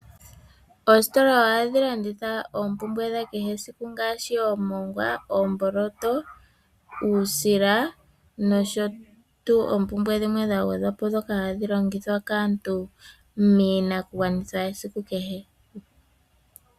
Oositola ohadhi landitha oompumbwe dhakehe esiku ngaashi oomongwa, oomboloto , uusila noompumbwe dhilwe ndhoka hadhi longithwa kaantu miinakugwanithwa yesiku kehe.